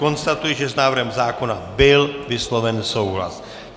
Konstatuji, že s návrhem zákona byl vysloven souhlas.